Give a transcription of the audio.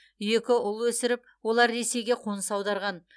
екі ұл өсіріп олар ресейге қоныс аударған